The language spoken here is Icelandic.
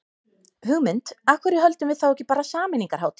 Hugmynd, af hverju höldum við þá ekki bara sameiningarhátíð.